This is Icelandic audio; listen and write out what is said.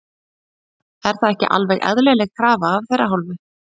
Er það ekki alveg eðlileg krafa af þeirra hálfu?